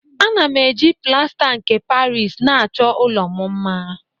Ana m eji plasta nke paris na-achọ ụlọ m mma